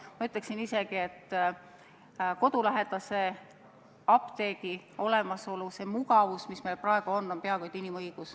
Ma ütleksin isegi, et kodulähedase apteegi olemasolu, see mugavus, mis meil praegu on, on peaaegu et inimõigus.